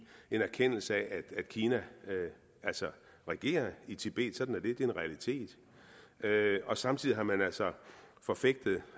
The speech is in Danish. en erkendelse af at kina altså regerer i tibet sådan er det det er en realitet og samtidig har man altså forfægtet